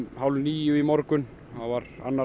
hálf níu í morgun þá var annar